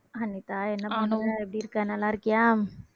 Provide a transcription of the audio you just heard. அனிதா என்ன பண்ற எப்படி இருக்க நல்லா இருக்கியா